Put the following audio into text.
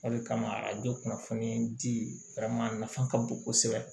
O de kama a bɛ kunnafoni di a nafa ka bon kosɛbɛ